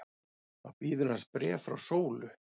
Þá bíður hans bréf frá Sólu.